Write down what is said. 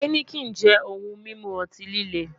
Heineken jẹ ohun mimu ọti-lile